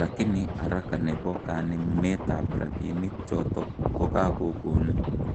Lakini haraka nebo kanemunet ap rapinik chotok kokakokon